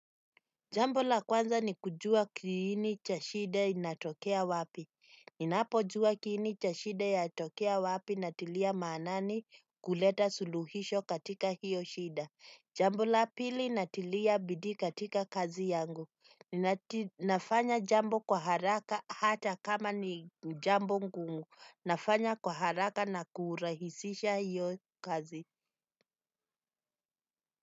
Jambo la kwanza ni kujua kiini cha shida inatokea wapi. Ninapo jua kiini cha shida ya atokea wapi na tilia maanani kuleta suluhisho katika hiyo shida. Jambo la pili na tilia bidii katika kazi yangu. Nafanya jambo kwa haraka hata kama ni jambo ngumu. Nafanya kwa haraka na kuurahisisha hiyo kazi.